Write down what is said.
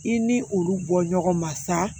I ni olu bɔ ɲɔgɔn ma sa